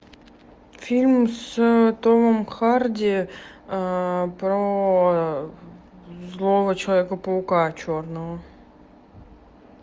фильм с томом харди про злого человека паука черного